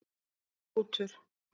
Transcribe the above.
Hrútur